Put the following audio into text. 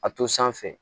A to sanfɛ